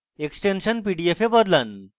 extension pdf এ বদলান